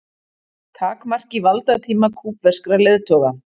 Takmarki valdatíma kúbverskra leiðtoga